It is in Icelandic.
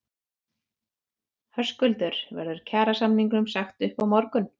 Höskuldur: Verður kjarasamningum sagt upp á morgun?